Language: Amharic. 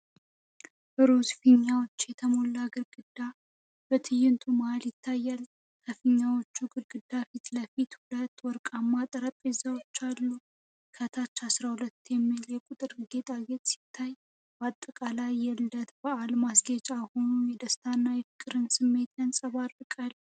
ሮዝ ፊኛዎች የተሞላ ግድግዳ በትዕይንቱ መሃል ይታያል። ከፊኛዎቹ ግድግዳ ፊት ለፊት ሁለት ወርቃማ ጠረጴዛዎች አሉ። ከታች “12” የሚል የቁጥር ጌጣጌጥ ሲታይ፣ በአጠቃላይ የልደት በዓል ማስጌጫ ሆኖ የደስታና የፍቅር ስሜትን ያንጸባርቃል።